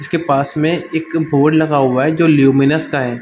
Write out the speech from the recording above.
इसके पास में एक बोर्ड लगा हुआ है जो ल्यूमिनस का है।